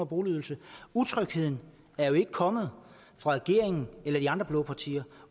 boligydelse utrygheden er jo ikke kommet fra regeringen eller de andre blå partier